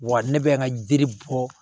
Wa ne bɛ n ka jiri bɔ